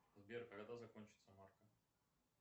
сбер когда закончится марка